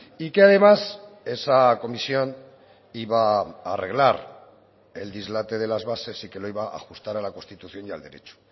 y que además esa comisión iba a arreglar el dislate de las bases y que lo iba a ajustar a la constitución y al derecho